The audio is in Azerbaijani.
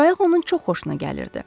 Qayıq onun çox xoşuna gəlirdi.